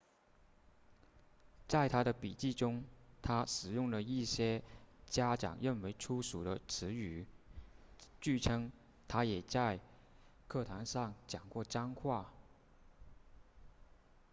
在他的笔记中他使用了一些家长认为粗俗的词语据称他也在课堂上讲过脏话